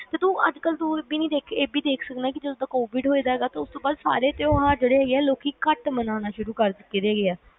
ਤੇ ਤੂੰ ਅੱਜ ਕੱਲ ਇਹ ਵੀ ਦੇਖ ਸਕਦਾ ਜਦੋ ਦਾ Covid ਹੋਇਆ ਸਾਰੇ ਤਿਉਹਾਰ ਹੈਗੇ ਆ ਲੋਕ ਨੇ ਘੱਟ ਮਨਾਣੇ ਸ਼ੁਰੂ ਕਰਤੇ